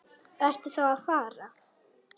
Ertu þá að fara?